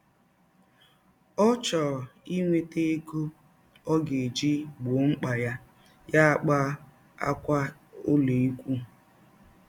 Ọ chọọ inweta egọ ọ ga - eji gbọọ mkpa ya, ya akpaa ákwà ụlọikwụụ.